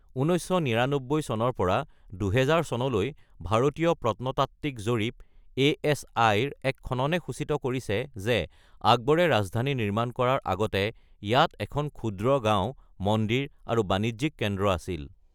১৯৯৯ চনৰ পৰা ২০০০ চনলৈ ভাৰতীয় প্ৰত্নতাত্বিক জৰীপ (এএচআই)ৰ এক খননে সূচিত কৰিছে যে আকবৰে ৰাজধানী নিৰ্মাণ কৰাৰ আগতে ইয়াত এখন ক্ষুদ্ৰ গাঁও, মন্দিৰ আৰু বাণিজ্যিক কেন্দ্ৰ আছিল।